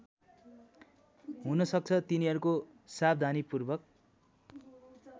हुनसक्छ तिनीहरूको सावधानीपूर्वक